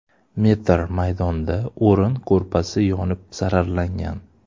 metr maydonda o‘rin-ko‘rpasi yonib zararlangan.